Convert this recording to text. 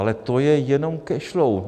Ale to je jenom cash flow.